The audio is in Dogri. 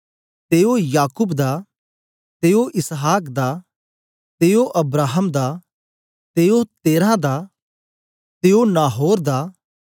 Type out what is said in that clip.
ते ओ याकूब दा ते ओ इसहाक दा ते ओ अब्राहम दा ते ओ तेरह दा ते ओ नाहोर दा